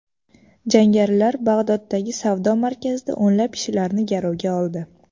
Jangarilar Bag‘doddagi savdo markazida o‘nlab kishilarni garovga oldi.